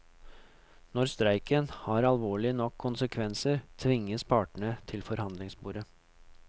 Når streiken har alvorlige nok konsekvenser, tvinges partene til forhandlingsbordet.